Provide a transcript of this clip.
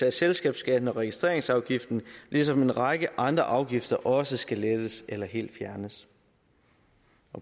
af selskabsskatten og registreringsafgiften ligesom en række andre afgifter også skal lettes eller helt fjernes